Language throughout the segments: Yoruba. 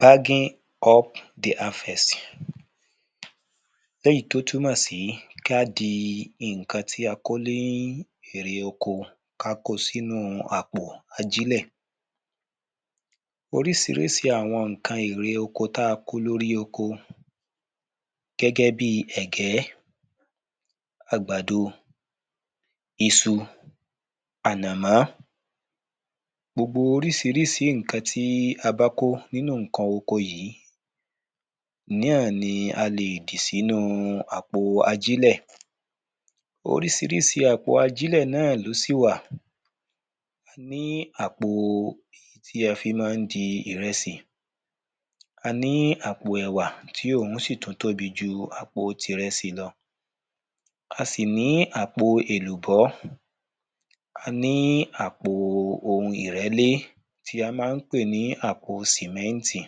bagging up the harvest, léyìí tó túnmọ̀ sí ká di ǹkan tí a kó ní erè oko, ká ko sí inúu àpò ajílẹ̀, orísirísi àwọn ǹkan erè oko ta kó lóri oko gẹ́gẹ́ bi ẹ̀gẹ́, àgbàdo, isu, ànàmọ́, gbogbo orísirísi ǹkan tí a bá kó nínú ǹkan oko yìí, ináà ni a lè dì sínu àpọ̀ ajílẹ̀. Orísirísi àpò ajílẹ̀ náà ló sì wà, a ní àpò èyí tí a fi ma ń di ìrẹsì, a ní àpò ẹ̀wà, tí òun ṣì tún tóbi ju àpo ti ìrẹsì lọ, a sì ní àpò èlùbọ́, a ní àpo oun ìrẹ́lé, tí a ma ń pè ní àpo sìmẹ́ntì.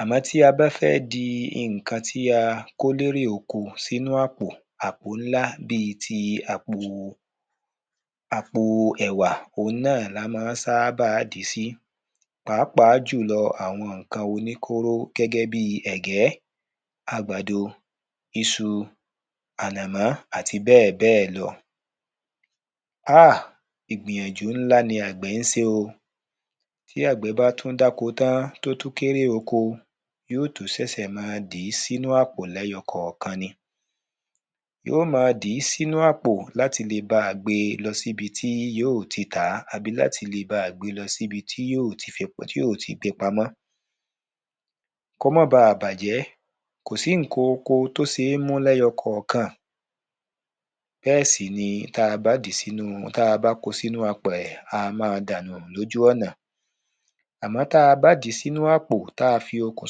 Àmọ́ tí a bá fẹ́ di ǹkan tí a kó ní erè oko sínú àpọ̀, àpọ̀ ńlá bíi ti àpọ̀ ẹ̀wà, òun la má ń sábà dìí si pàápàá jùlọ àwọn kan oní kóró gẹ́gẹ́ bi, ẹ̀gẹ́ àgbàdo, isu, ànọ̀mọ́, àti bẹ́ẹ̀bẹ́ẹ̀ lọ. Ah! Ìgbìyànjú ńlá ni àgbẹ̀ ń ṣe o, tí àgbẹ̀ bá tún dáko tán, tó tún kérè oko, yóó tún sẹ̀ sẹ̀ ma dìí sí àpọ̀ lẹ̀yọ kànkan ni, yó ma dìí sínú àpò láti le ba à gbe lọ sí ibiti yóò ti tàá, àbí láti le ba à gbe lọ sí ibití yóò ti gbe pamọ́, kó ma ba à bàjẹ́, kò sí ǹkan oko tó ṣe é mú lẹ́yọ kànkan, bẹ́ẹ̀ sì ni, tí a bá dìí sínu, ta bá ko sínu apẹ̀, a ma dànù lójú ọ̀nà, àmọ́ tabá dìí sínú àpọ̀, tá fi okùn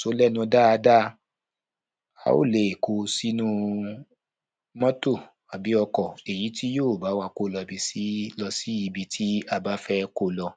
so ó lẹ́nu dáada, á le è ko sínúu mọ́tọ̀, àbí ọkọ̀, èyí tí yóò bá wà ko lọ sí ibití a bá fẹ́ ko lọ.